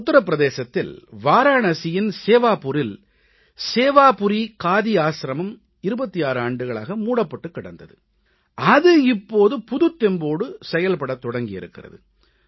உத்தர பிரதேசத்தில் வாராணசியின் சேவாபூரில் சேவாபுரீ காதி ஆசிரமம் 26 ஆண்டுகளாக மூடப்பட்டுக் கிடந்தது அது இப்போது புதுத் தெம்போடு செயல்படத் தொடங்கியிருக்கிறது